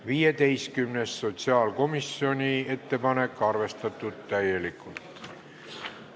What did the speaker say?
15., sotsiaalkomisjoni ettepanek, arvestatud täielikult.